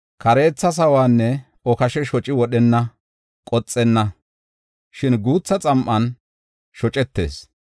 Kareetha sawonne okashe shocu wodhan qoxenna; shin guutha xam7an shocetees.